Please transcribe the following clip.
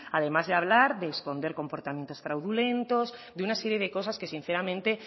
además de hablar esconder comportamientos fraudulentos de una serie de cosas que sinceramente